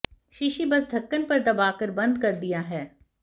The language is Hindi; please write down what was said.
शीशी बस ढक्कन पर दबाकर बंद कर दिया है